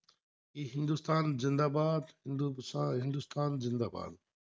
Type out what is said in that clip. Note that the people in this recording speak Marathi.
हिंदुस्थान जिंदाबाद! हिंदुस्थान जिंदाबाद!